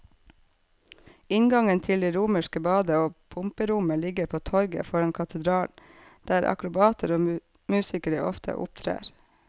Inngangen til det romerske badet og pumperommet ligger på torvet foran katedralen, der akrobater og musikere ofte opptrer.